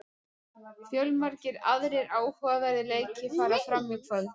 Fjölmargir aðrir áhugaverðir leikir fara fram í kvöld.